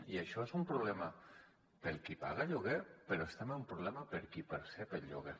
i això és un problema per al qui paga lloguer però és també un problema per a qui percep el lloguer